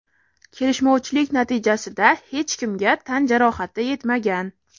Kelishmovchilik natijasida hech kimga tan jarohati yetmagan.